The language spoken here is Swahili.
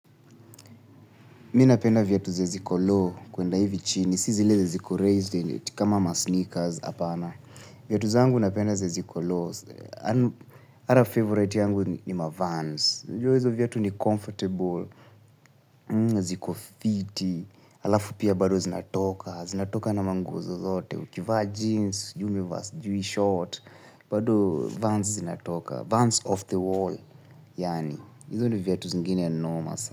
Mimi na penda viatu zenye ziko low kuenda hivi chini, si zile ziko raised in it, kama ma sneakers apana. Viatu zangu na penda zenye ziko low. Ata favorite yangu nima vans. Unajua hizo viatu ni comfortable. Ziko fiti. Alafu pia bado zinatoka. Zinatoka na manguo zozote. Ukivaa jeans. Sijui umevaa sijui short. Bado vans zinatoka. Vans off the wall. Yani, hizo ni viatu zingine noma sana.